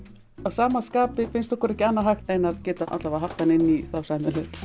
að sama skapi finnst okkur ekki annað hægt en að geta allavega haft hann inni í sæmilegri